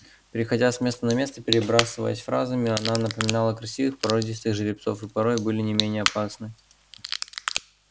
переходя с места на место перебрасываясь фразами она напоминала красивых породистых жеребцов и порой были не менее опасны